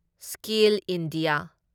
skill India